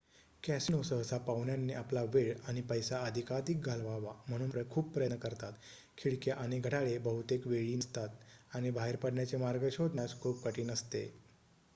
casino सहसा पाहुण्यांनी आपला वेळ आणि पैसा अधिकाधिक घालवावा म्हणून खूप प्रयत्न करतात खिडक्या आणि घड्याळे बहुतेक वेळी नसतात आणि बाहेर पडण्याचे मार्ग शोधण्यास खूप कठीण असते